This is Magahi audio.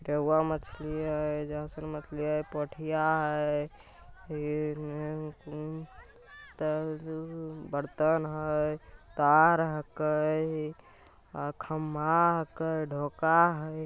मछली हेय एजा पर मछलियां पोठिया हेय हो ते बर्तन हेय तार हके अ खंभा हके ढोका हेय।